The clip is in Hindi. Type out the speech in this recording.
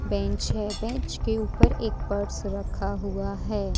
बेंच है बेंच के ऊपर एक पर्स रखा हुआ है।